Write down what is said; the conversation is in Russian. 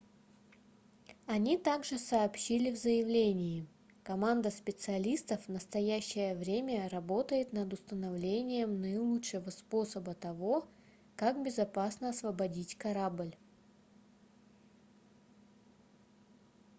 они также сообщили в заявлении команда специалистов в настоящее время работает над установлением наилучшего способа того как безопасно освободить корабль